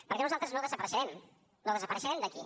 perquè nosaltres no desapareixerem no desapareixerem d’aquí